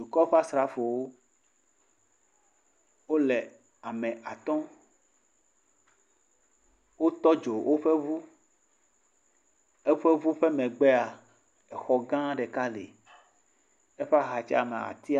Dukɔ ƒe asrafowo wole ame atɔ̃. Wotɔ dzo woƒe ŋu. Eƒe ŋu ƒe megbea exɔ gã ɖeka li. Eƒe axa dzia ma tea…